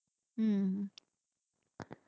ஹம்